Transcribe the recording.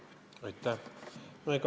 Aitäh!